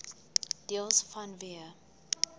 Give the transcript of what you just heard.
deels vanweë